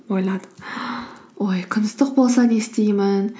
ойладым ой күн ыстық болса не істеймін